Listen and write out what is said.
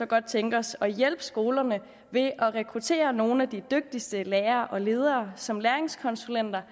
godt tænke os at hjælpe skolerne ved at rekruttere nogle af de dygtigste lærere og ledere som læringskonsulenter